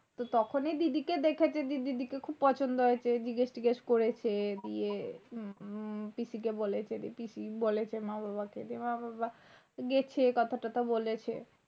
তো তখনি দিদিকে দেখেছে দিদিকে দেখে খুব পছন্দ হয়েছে। জিজ্ঞেস-টিগেস করছে বিয়ে উম পিসিকে বলেছে পিসি বলেছে মা-বাবা কে মা-বাবা গেছে কথা-টতা বলেছে।